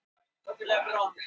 Díma, hvað er jörðin stór?